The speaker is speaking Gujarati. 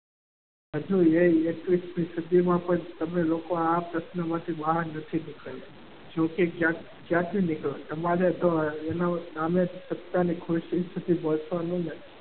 હજુ એકવીસમી સદીમાં પણ તમે લોકો આ પ્રશ્નમાંથી બહાર નથી નીકળતા. જો તે ક્યાંથી નીકળ્યો તમારા માટે તો એને માટે સત્તાની ખુશી હોય પણ